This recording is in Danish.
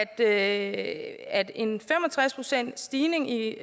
at at en fem og tres procentsstigning i